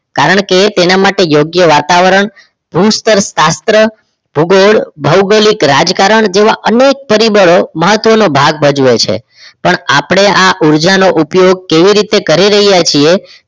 કારણ કે તેના માટે યોગ્ય વાતાવરણ ભુસ્તરશાસ્ત્ર ભૂગોળ ભૌગોલિક રાજકારણ જેવા અનેક પરિબળો મહત્વનો ભાગ ભજવે છે પણ આપણે આ ઉર્જાનો ઉપયોગ કેવી રીતે કરી રહ્યા છીએ